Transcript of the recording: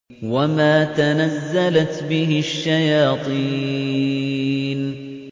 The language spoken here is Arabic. وَمَا تَنَزَّلَتْ بِهِ الشَّيَاطِينُ